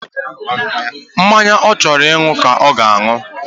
Mmanya onye chọrọ ịṅụ ka ọ ga-aṅụ.